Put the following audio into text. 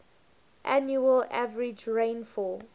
annual average rainfall